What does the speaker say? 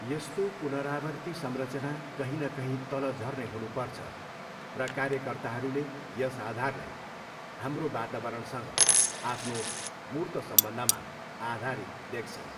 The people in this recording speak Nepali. यस्तो पुनरावर्ती संरचना कहीँ न कहीँ तल झर्ने हुनुपर्छ र कार्यकर्ताहरूले यस आधारलाई हाम्रो वातावरणसँग आफ्नो मूर्त सम्बन्धमा आधारित देख्छन्।